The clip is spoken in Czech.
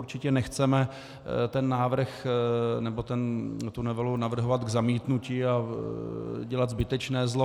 Určitě nechceme ten návrh nebo tu novelu navrhovat k zamítnutí a dělat zbytečné zlo.